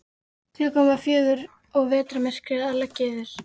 Klukkan var um fjögur og vetrarmyrkrið að leggjast yfir.